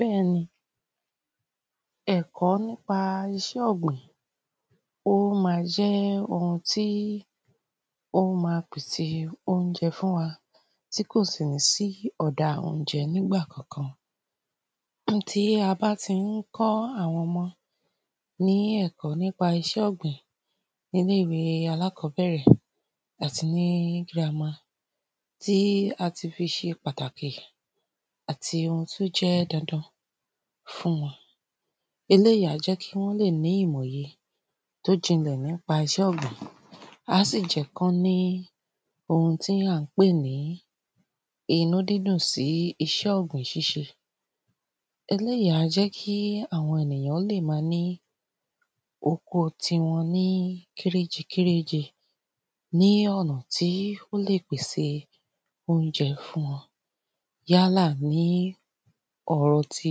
Bẹ́ẹ̀ ni ẹ̀kọ́ nípa iṣẹ́ ọ̀gbìn ó ma jẹ́ oun tí ó máa pèsè ounjẹ fún wa tí kò sì ní sí ọ̀dá ounjẹ nígbà kankan. Tí a bá ti ń kọ́ àwọn ọmọ ní ẹ̀kọ́ nípa iṣẹ́ ọ̀gbìn ní ilé ìwé alákọ́bẹ̀rẹ̀ àti ní grammar tí a ti fi ṣe pàtàkì àti oun tí ó jẹ́ dandan fún wọn. Eléyì a jẹ́ kí wọ́n lè ní ìmọ̀ye tí ó jinlẹ̀ nípa iṣẹ́ ọ̀gbìn á sì jẹ́ kí wọ́n ní oun tí à ń pè ní inú dídùn sí iṣẹ́ ọ̀gbìn ṣị́ṣe. Eléyì á jẹ́ àwọn ènìyàn ó lè ma ní oko tíwọn ní kéréjẹ kéréjẹ ní ọ̀nà tí ó lè pèsè ounjẹ fún wọn yálà ní ọ̀rọ̀ tí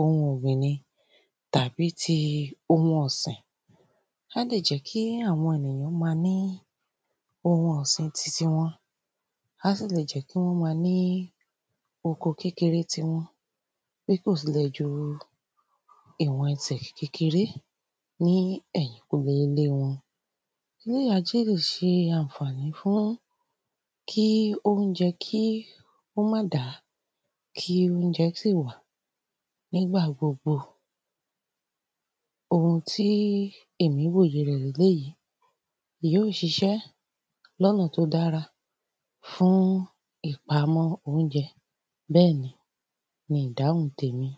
ohun ọ̀gbìn ni tàbí tí ohun ọ̀sìn. Á lè jẹ́ kí àwọn ènìyàn ma ní oun ọ̀sìn ti tiwọn. Á sì lè jẹ́ kí wọ́n ma ní oko kékeré tiwọn bí kò sì lè ju iwọn ẹsẹ̀ kékeré ní ẹ̀yìnǹkùlé ilé wọn. Eléyì á tún lè ṣe àǹfàní fún kí ounjẹ kí ó má dàá kí ounjẹ sì wà ní ìgbà gbogbo. Ohun tí èmi wòye ni eléyì. Èyí yóò ṣiṣẹ́ ní ọ̀nà tí ó dára fún ìpamọ́ ounjẹ bẹ́ẹ̀ ni ni ìdáhùn ti èmi.